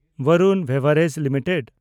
Varun beverages limited